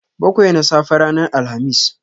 Bakwai na safe ranar Alhamis.